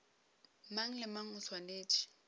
mang le mang o swanetše